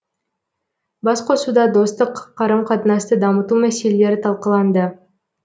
басқосуда достық қарым қатынасты дамыту мәселелері талқыланды